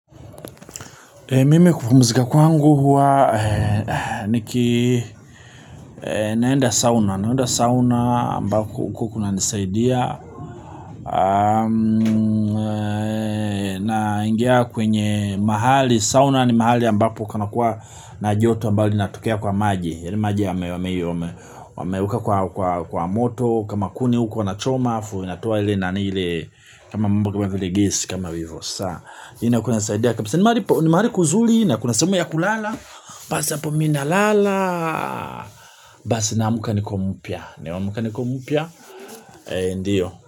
Mimi kupumzika kwangu huwa niki naenda sauna, naenda sauna ambako kunanisaidia naingia kwenye mahali sauna ni mahali ambapo kunakuwa na joto ambalo linatokea kwa maji, wameweka kwa moto kama kuni huko wanachoma alafu inatoa ile nani ile kama kama vile gesi kama hivo. Ni mahali kuzuri na kuna sehemu ya kulala. Basi hapo mi nalala. Basi naamuka niko mpya. Ndiyo.